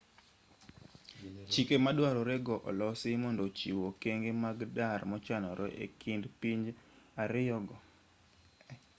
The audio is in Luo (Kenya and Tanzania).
chike maduarore go olosi mondo ochiw okenge mag dar mochanore e kind pinje ariyo go